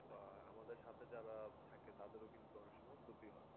আহ আমাদের সাথে যারা থাকে তাদেরও কিন্তু অনেক সময় ক্ষতি হয়ে